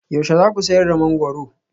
Yaushe za ku sayar da mangwaro?